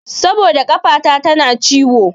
Saboda ƙafata tana ciwo.